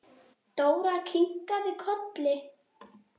Dóra kinkaði kolli.